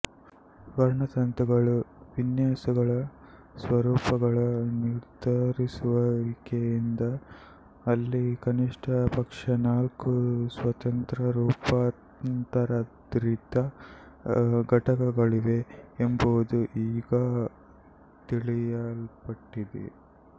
ವರ್ಣತಂತುಗಳ ವಿನ್ಯಾಸಗಳ ಸ್ವರೂಪಗಳ ನಿರ್ಧರಿಸುವಿಕೆಯಿಂದ ಅಲ್ಲಿ ಕನಿಷ್ಠ ಪಕ್ಷ ನಾಲ್ಕು ಸ್ವತಂತ್ರ ರೂಪಾಂತರಿತ ಘಟಕಗಳಿವೆ ಎಂಬುದು ಈಗ ತಿಳಿಯಲ್ಪಟ್ಟಿದೆ